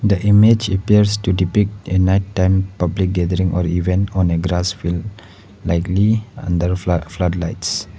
the image appears to depict a night time public gathering or event on a grass field likely under fla flood lights.